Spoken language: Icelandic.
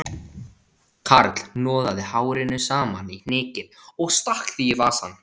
Karl hnoðaði hárinu saman í hnykil og stakk því í vasann